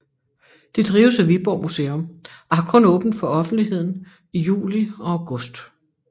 Det drives af Viborg Museum og har kun åbent for offentligheden i juli og august